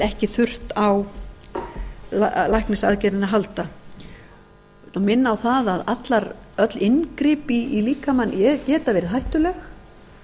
ekki þurft á læknisaðgerðinni að halda ég minni á að öll inngrip í líkamann geta verið hættuleg